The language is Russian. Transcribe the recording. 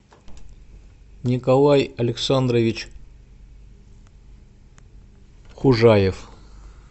николай александрович хужаев